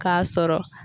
K'a sɔrɔ